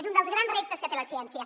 és un dels grans reptes que té la ciència